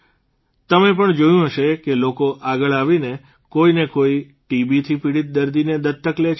તમે પણ જોયું હશે કે લોકો આગળ આવીને કોઇને કોઇ ટીબીથી પીડીત દર્દીને દત્તક લે છે